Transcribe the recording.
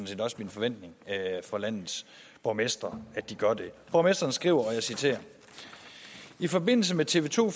set også min forventning at landets borgmestre gør det borgmesteren skriver i forbindelse med tv to